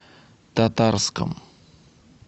татарском